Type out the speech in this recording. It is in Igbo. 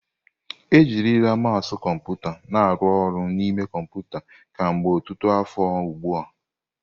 Ejirila mousu kọmputa na aru oru n'ime kọmpụta kemgbe ọtụtụ afọ ugbu a.